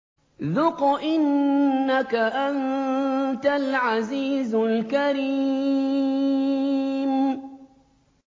ذُقْ إِنَّكَ أَنتَ الْعَزِيزُ الْكَرِيمُ